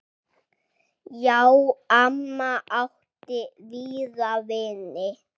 Já, amma átti víða vini.